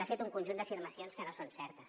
ha fet un conjunt d’afirmacions que no són certes